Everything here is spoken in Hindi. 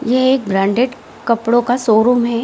यह एक ब्रांडेड कपड़े का शोरूम है।